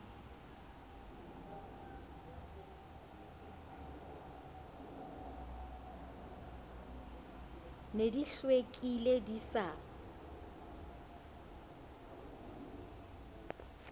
ne di hlwekile di sa